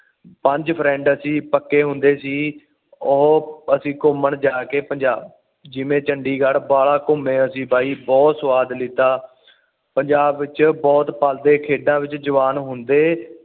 ਪੰਜ ਫਰਿੰਡ ਅਸੀਂ ਪਾਕੇ ਹੁੰਦੇ ਸੀ ਉਹ ਅਸੀਂ ਗੁਮਾਨ ਜਾ ਕੇ ਪੰਜਾਬ ਜਿਵੇਂ ਚੰਡੀਗ੍ਹੜ ਬਾਹਲਾ ਘੁੰਮੇ ਅਸੀਂ ਬਾਈ ਬੁਹਤ ਸੁਵਾਦ ਲਿਤਾ ਪੰਜਾਬ ਵਿੱਚ ਬੁਹਤ ਪਾਂਦੇ ਖੇਡਾਂ ਵਿੱਚ ਜਵਾਨ ਹੁੰਦੇ